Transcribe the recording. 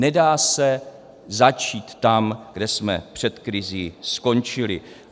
Nedá se začít tam, kde jsme před krizí skončili.